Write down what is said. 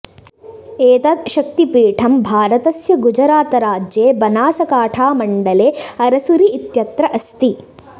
एतत् शक्तिपीठं भारतस्य गुजरातराज्ये बनासकाठामण्डले अरसुरि इत्यत्र अस्ति